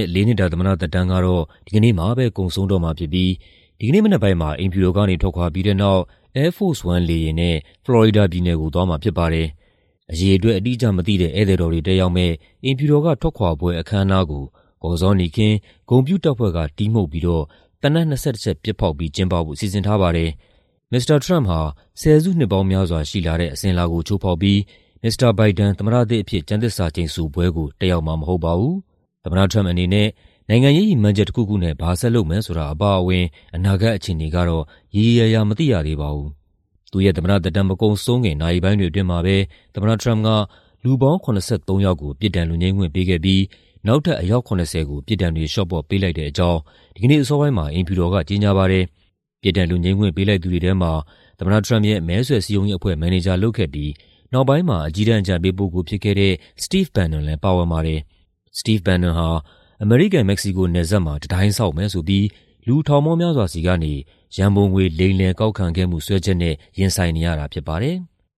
ဲ့ လေးနှစ်တာ သမ္မတသက်တမ်းကတော့ ဒီကနေ့မှာပဲ ကုန်ဆုံးတော့မှာဖြစ်ပြီး ဒီကနေ့မနက်ပိုင်းမှာ အိမ်ဖြူတော်ကနေ ထွက်ခွာပြီးတဲ့နောက် Air Force One လေယာဉ်နဲ့ ဖလော်ရီဒါပြည်နယ်ကို သွားမှာဖြစ်ပါတယ်။ အရေအတွက် အတိအကျမသိတဲ့ ဧည့်သည်တော်တွေ တက်ရောက်မယ့် အိမ်ဖြူတော်က ထွက်ခွာပွဲအခမ်းအနားကို ကော်ဇောနီခင်း၊ ဂုဏ်ပြုတပ်ဖွဲ့က တီးမှုတ်ပြီးတော့ သေနတ် ၂၁ ချက်ပစ်ဖောက်ပြီး ကျင်းပဖို့ စီစဉ်ထားပါတယ်။ မစ္စတာထရမ့်ပ်ဟာ ဆယ်စုနှစ်ပေါင်းများစွာ ရှိလာတဲ့ အစဉ်အလာကို ချိုးဖောက်ပြီး မစ္စတာဘိုင်ဒန် သမ္မတသစ်အဖြစ် ကျမ်းသစ္စာကျိန်ဆိုပွဲကို တက်ရောက်မှာ မဟုတ်ပါဘူး။ မစ္စတာထရမ့်ပ်အနေနဲ့ နိုင်ငံရေး ရည်မှန်းချက်တခုခုနဲ့ ဘာဆက်လုပ်မယ်ဆိုတာအပါအဝင် အနာဂတ်အခြေအနေကတော့ ရေရေရာရာ မသိရသေးပါဘူး။ သူ့ရဲ့ သမ္မတသက်တမ်း မကုန်ဆုံးခင် နာရီပိုင်းတွေအတွင်းမှာပဲ သမ္မတထရမ့်ပ်က လူပေါင်း ၇၃ ယောက်ကို ပြစ်ဒဏ်လွတ်ငြိမ်းခွင့်ပေးခဲ့ပြီး နောက်ထပ် အယောက် ၇၀ ကို ပြစ်ဒဏ်တွေ လေ ျှာ့ပေါ့ပေးလိုက်တဲ့အကြောင်း ဒီကနေ့အစောပိုင်းမှာ အိမ်ဖြူတော်ကကြေညာပါတယ်။ ပြစ်ဒဏ်လွတ်ငြိမ်းခွင့် ပေးလိုက်သူတွေထဲမှာ သမ္မတထရမ့်ပ်ရဲ့ မဲဆွယ်စည်းရုံးရေးအဖွဲ့ မန်နေဂျာလုပ်ခဲ့ပြီး နောက်ပိုင်းမှာ အကြီးတန်းအကြံပေးပုဂ္ဂိုလ်ဖြစ်ခဲ့တဲ့ Steve Bannon လည်း ပါဝင်ပါတယ်။ Steve Bannon ဟာ အမေရိကန်-မက္ကဆီကိုနယ်စပ်မှာ တံတိုင်းဆောက်မယ်ဆိုပြီး လူထောင်ပေါင်းများစွာဆီကနေ ရန်ပုံငွေ လိမ်လည်ကောက်ခံခဲ့မှုစွဲချက်နဲ့ ရင်ဆိုင်နေရတာဖြစ်ပါတယ်။